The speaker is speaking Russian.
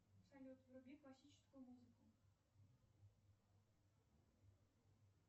салют вруби классическую музыку